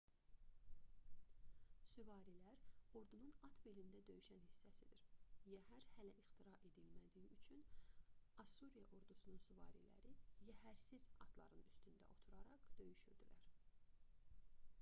süvarilər ordunun at belində döyüşən hissəsidir yəhər hələ ixtira edilmədiyi üçün assuriya ordusunun süvariləri yəhərsiz atların üstündə oturaraq döyüşürdülər